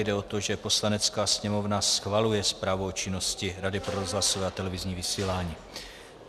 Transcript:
Jde o to, že Poslanecká sněmovna schvaluje Zprávu o činnosti Rady pro rozhlasové a televizní vysílání.